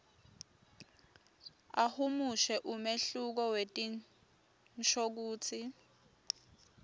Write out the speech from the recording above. ahumushe umehluko wetinshokutsi